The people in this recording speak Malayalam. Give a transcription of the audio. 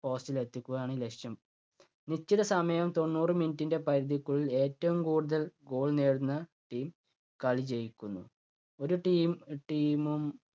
post ലെത്തിക്കുകയാണ് ലക്ഷ്യം. നിശ്ചിത സമയം തൊണ്ണൂറ് minute ൻ്റെ പരിധിക്കുള്ളിൽ ഏറ്റവും കൂടുതൽ goal നേടുന്ന team കളി ജയിക്കുന്നു. ഒരു team, team ഉം